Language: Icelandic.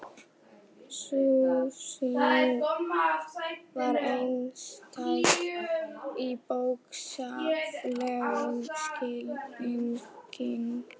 Sú sýning var einstæð í bókstaflegum skilningi.